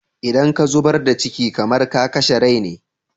Idan ka zubar da ciki, kamar ka kashe rai ne.